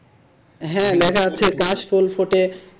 হ্যাঁ লেখা আছে কাশ ফুল ফোটে,